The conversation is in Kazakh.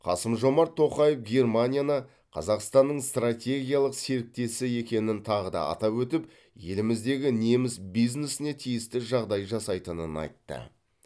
қасым жомарт тоқаев германияны қазақстанның стратегиялық серіктесі екенін тағы да атап өтіп еліміздегі неміс бизнесіне тиісті жағдай жасайтынын айтты